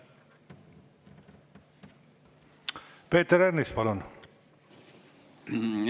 Peeter Ernits, palun!